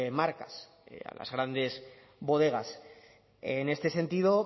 marcas a las grandes bodegas en este sentido